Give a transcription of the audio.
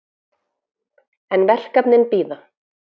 En verkefnin bíða.